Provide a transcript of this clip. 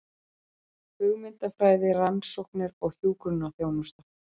Hugmyndafræði, rannsóknir og hjúkrunarþjónusta.